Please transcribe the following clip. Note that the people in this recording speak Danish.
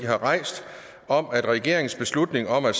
har rejst om at regeringens beslutning om at